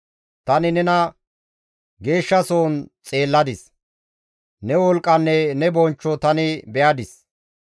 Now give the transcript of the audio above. Tani nena geeshshasohon xeelladis; ne wolqqanne ne bonchcho tani be7adis.